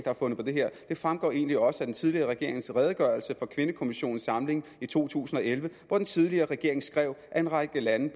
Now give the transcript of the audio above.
har fundet på det her det fremgår egentlig også af den tidligere regerings redegørelse for kvindekommissionens samling i to tusind og elleve hvor den tidligere regering skrev at en række lande